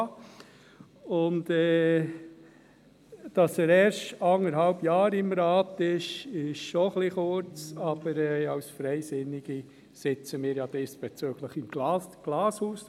Dass er dem Rat erst seit anderthalb Jahren angehört – das ist zwar etwas kurz, aber als Freisinnige sitzen wir ja diesbezüglich im Glashaus.